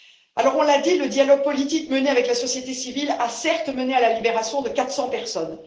Alors, nous l'avons dit, le dialogue politique mené avec la société civile a, certes, mené à la libération de 400 personnes.